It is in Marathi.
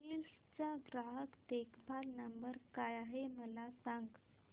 हिल्स चा ग्राहक देखभाल नंबर काय आहे मला सांग